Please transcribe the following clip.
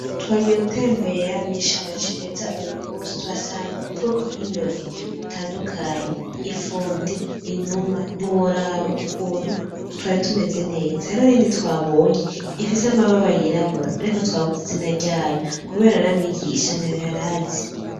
Twagiye gutembere mw'ishamba cimeza uyu musi, tuhasanga ubwoko bw'inyoni butandukanye, ifundi, inuma, ntiworaba ukuntu twari tumeze neza, hariho n'iyindi twabonye ifise amababa y'irabura ariko twabuze izina ryayo kubera na mwigisha ntayo yarazi.